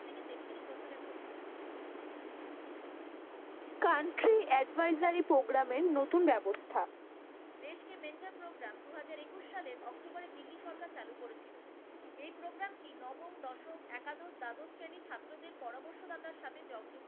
country advisory program এর নতুন ব্যবস্থা। দেশকে mentor program দু হাজার একুশ সালের অক্টোবর এ দিল্লি সরকার চালু করেছিল। এই program টি নবম, দশম, একাদশ, দ্বাদশ শ্রেণীর ছাত্রদের পরামর্শ দাতার সাথে জং